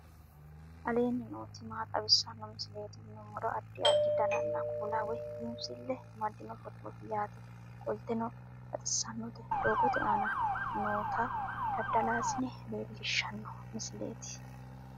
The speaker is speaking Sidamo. aleenni nooti maa xawisanno misileeti yinummoro addi addi dananna kuula woy biinsille amaddino footooti yaate qoltenno baxissannote doogote aana noota dada; laasine lellishshanno misileeti